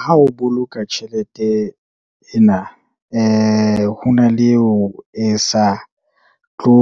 Ha o boloka tjhelete ena, ho na le eo e sa tlo